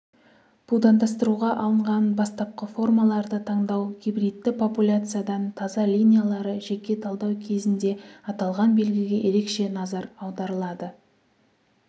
будандастыруға алынған бастапқы формаларды таңдау гибридті популяциядан таза линиялары жеке талдау кезінде аталған белгіге ерекше назар аударылады